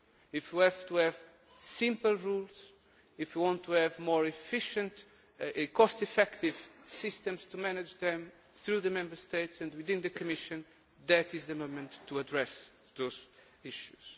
If we have to have simple rules, if we want to have more efficient, cost effective systems to manage them through the Member States and within the Commission, that is the moment to address those issues.